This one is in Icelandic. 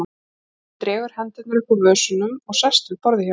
Svenni dregur hendurnar upp úr vösunum og sest við borðið hjá henni.